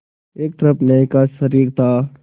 एक तरफ न्याय का शरीर था